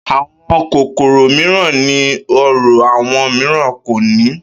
Àwo̩n kòkòrò mìíràn ní oró, àwo̩n mìíràn kò ní